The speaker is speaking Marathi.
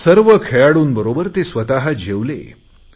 सर्व खेळाडूंबरोबर ते स्वत जेवले आहेत